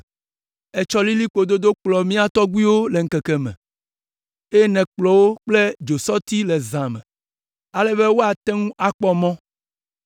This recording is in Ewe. Ètsɔ lilikpo dodo kplɔ mía tɔgbuiwo le ŋkeke me, eye nèkplɔ wo kple dzosɔti le zã me, ale be woate ŋu akpɔ mɔ.